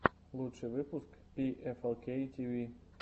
лучший выпуск пиэфэлкей тиви